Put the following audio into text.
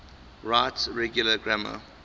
right regular grammar